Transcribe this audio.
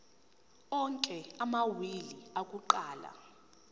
onke amawili akuqala